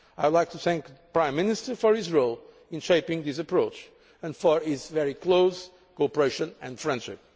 I would like to thank the Prime Minister for his role in shaping this approach and for his very close cooperation and friendship.